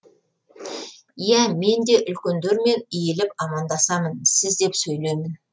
иә мен де үлкендермен иіліп амандасамын сіз деп сөйлеймін